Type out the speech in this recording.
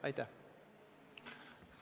Aitäh!